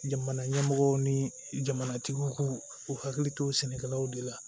Jamana ɲɛmɔgɔw ni jamanatigiw k'u u hakili to sɛnɛkɛlaw de la